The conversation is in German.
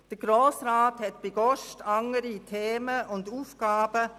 Der Grosse Rat habe beileibe andere Themen und Aufgaben.